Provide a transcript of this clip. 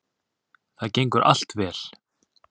Það gengur allt vel